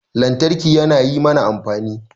Lantarki yana yi mana amfani